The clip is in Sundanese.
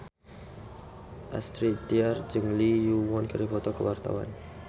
Astrid Tiar jeung Lee Yo Won keur dipoto ku wartawan